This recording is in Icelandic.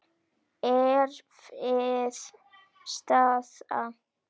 Erfið staða.